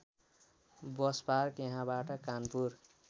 bus park यहाँबाट कानपुर